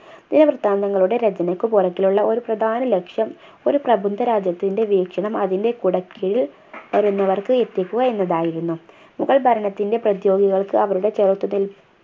ദിനവൃത്താന്തങ്ങളുടെ രചനയ്ക്കു പുറകിലുള്ള ഒരു പ്രധാന ലക്ഷ്യം ഒരു പ്രബുദ്ധ രാജ്യത്തിൻ്റെ വീക്ഷണം അതിന്റെ കുടക്കീഴിൽ വരുന്നവർക്ക് എത്തിക്കുക എന്നതായിരുന്നു മുഗൾ ഭരണത്തിന്റെ പ്രതിയോഗികൾക്ക് അവരുടെ ചെറുത്തു നിൽപ്